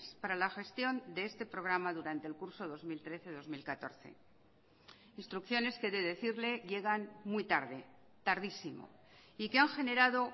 para la gestión de este programa durante el curso dos mil trece dos mil catorce instrucciones que he de decirle llegan muy tarde tardísimo y que han generado